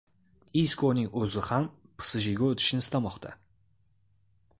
Iskoning o‘zi ham PSJga o‘tishni istamoqda.